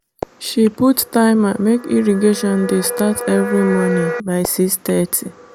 she put timer make irrigation dey start every morning by 6:30.